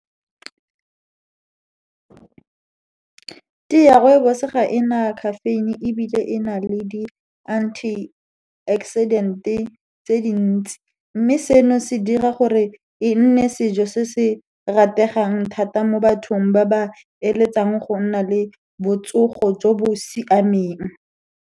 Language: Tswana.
Tee ya rooibos ga e na caffeine, ebile e na le di-antioxidant-e tse dintsi, mme seno se dira gore e nne sejo se se rategang thata mo bathong ba ba eletsang go nna le botsogo jo bo siameng.